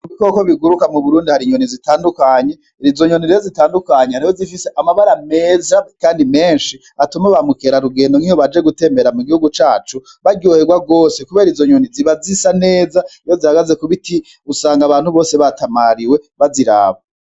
Mubikoko biguruka muburundi hari inyoni zitandukanye, izo nyoni rero zitandukanye hariho izifise amabara meza kandi menshi, atuma ba mukerarugendo nkiyo baje gutembera mugihugu cacu, baryoherwa gose kubera izo nyoni ziba zisa neza, iyo zihagaze kubiti usanga abantu bose batamariwe, baziraba.